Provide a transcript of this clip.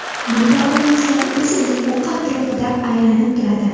Bunda olmoslar o‘z o‘qi atrofida aylanib turadi.